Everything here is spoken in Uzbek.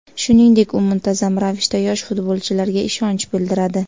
Shuningdek, u muntazam ravishda yosh futbolchilarga ishonch bildiradi.